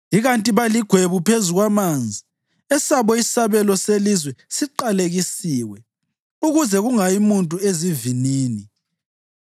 Ikanti baligwebu phezu kwamanzi; esabo isabelo selizwe siqalekisiwe, ukuze kungayi muntu ezivinini.